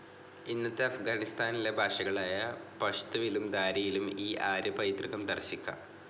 ഇന്നത്തെ അഫ്ഗാനിസ്താനിലെ ഭാഷകളായ പഷ്തുവിലും ദാരിയിലും ഈ ആര്യപൈതൃകം ദർശിക്കാം.